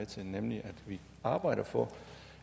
til nemlig at vi arbejder for